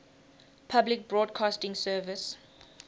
public broadcasting service